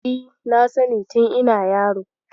E, na sani tin ina yaro.